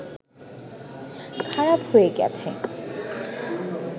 খারাপ হয়ে গেছে